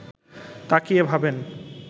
তাকিয়ে ভাবেন